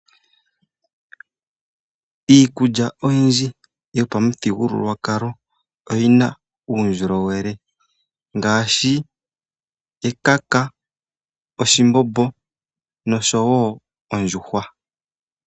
Iikulya oyindji yopamuthigululwakalo Oyi na uundjolowele ngaashi ekaka, oshimbombo nondjuhwa